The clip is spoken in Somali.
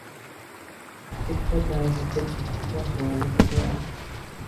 Fikradhadha dajix ,wax walukubari.